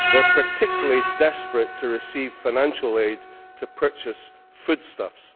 They are particularly desperate to receive financial aid to purchase foodstuffs.